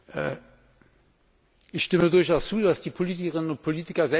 Ich stimme durchaus zu, dass die Politikerinnen und Politiker selbständig entscheiden müssen.